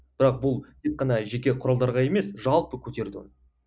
бірақ бұл тек қана жеке құралдарға емес жалпы көтерді